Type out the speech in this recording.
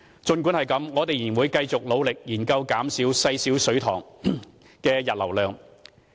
儘管如此，我們仍會繼續努力研究減低細小水塘的溢流量。